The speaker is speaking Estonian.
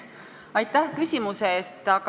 Aitäh küsimuse eest!